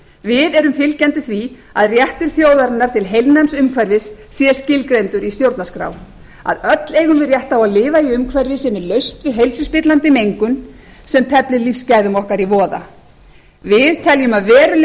við erum fylgjandi því að réttur þjóðarinnar til heilnæms umhverfis sé skilgreindur í stjórnarskrá að öll eigum við rétt á að lifa í umhverfi sem er laust við heilsuspillandi mengun sem teflir lífsgæðum okkar í voða við teljum að veruleg